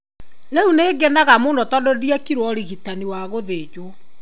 Rĩu nĩ ngenaga mũno tondũ ndiekirwo ũrigitani wa gũthenjwo.